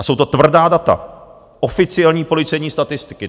A jsou to tvrdá data, oficiální policejní statistiky.